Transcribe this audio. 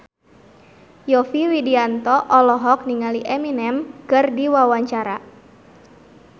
Yovie Widianto olohok ningali Eminem keur diwawancara